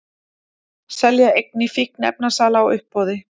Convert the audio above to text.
Selja eignir fíkniefnasala á uppboði